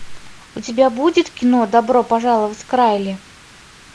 у тебя будет кино добро пожаловать к райли